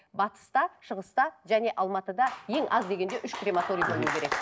батыста шығыста және алматыда ең аз дегенде үш крематорий болу керек